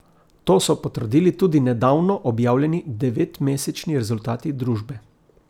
To so potrdili tudi nedavno objavljeni devetmesečni rezultati družbe.